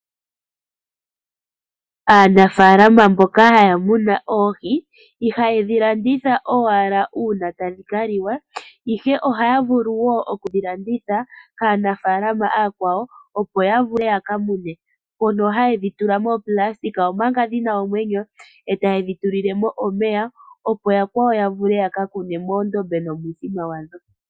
Aanafalama mboka haya muna oohi ihayedhi landitha owala una tadhi ka liwa. Ihe ohaya vulu wo okudhi landitha kaanafalama aakwawo opo ya vule yaka mune. Mono haya vulu okudhi tula moonayilona omanga dhina omwenyo etayedhi tulile po omeya opo yakwawo ya vule yaka kune moondombe nomuthima wadho.